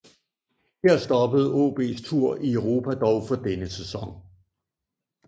Her stoppede AaBs tur i Europa dog for denne sæson